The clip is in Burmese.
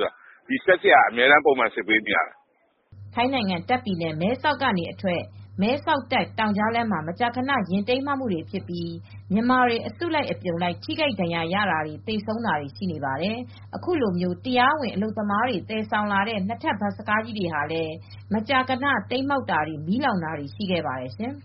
တယ်။ စက်ဆရာက အမြဲစစ်ဆေးပေးရတယ်။” ထိုင်းနိုင်ငံတာခ့်ပြည်နယ် မဲဆောက်မြို့ကနေအထွက် မဲဆောက်တာ့ခ် တောင်ကြားလမ်းမှာ မကြာခဏ ယာဉ်တိမ်းမှောက်ပြီး မြန်မာတွေ အစုလိုက်အပြုံလိုက်ထိခိုက်ဒဏ်ရာရတာတွေ၊ သေဆုံးတာတွေရှိနေပါတယ်။ အခုလိုမျိုး တရားဝင် အလုပ်သမားတွေ သယ်ဆောင်လာတဲ့ ၂ ထပ်ဘတ်စ်ကားကြီးတွေလည်း မကြာခဏ တိမ်းမှောက်တာ၊ မီးလောင်တာတွေလည်း ရှိခဲ့ပါတယ်ရှင်။